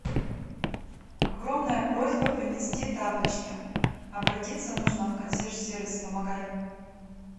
огромная просьба принести тапочки обратиться нужно в консьерж сервис помогай